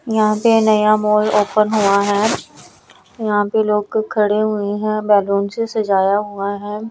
यहाँ पर नया मॉल ओपन हुआ है यहाँ पे लोग खड़े हुए हैं बैलून से सजाया हुआ है।